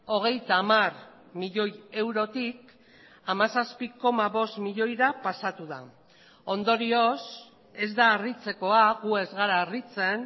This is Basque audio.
hogeita hamar milioi eurotik hamazazpi koma bost milioira pasatu da ondorioz ez da harritzekoa gu ez gara harritzen